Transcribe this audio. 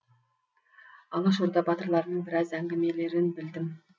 алашорда батырларының біраз әңгімелерін білдім